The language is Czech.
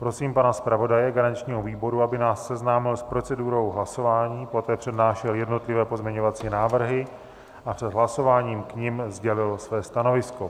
Prosím pana zpravodaje garančního výboru, aby nás seznámil s procedurou hlasování, poté přednášel jednotlivé pozměňovací návrhy a před hlasováním k nim sdělil své stanovisko.